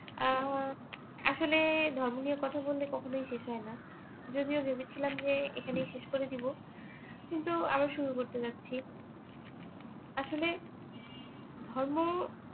আহ আসলে ধর্ম নিয়ে কথা বললে কখনই শেষ শেষ হইনা যদিও ভেবেছিলাম যে এখানেই শেষ করে দিবো কিন্তু আবার শুরু করতে যাচ্ছি আসলে ধর্ম